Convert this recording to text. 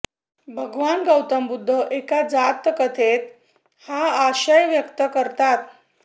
भगवान गौतम बुद्ध एका जातककथेत हा आशय व्यक्त करतात